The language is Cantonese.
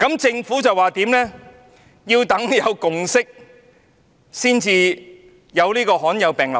政府表示要待有共識才就罕見疾病立法。